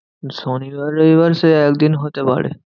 শনিবার রবিবার সে একদিন হতে পারে।